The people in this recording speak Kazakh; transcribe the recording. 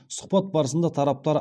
сұхбат барысында тараптар